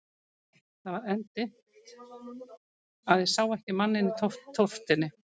Það var enn það dimmt að ég sá manninn ekki í tóftinni.